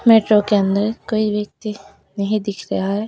Metro के अंदर कोई व्यक्ति नहीं दिख रहा है।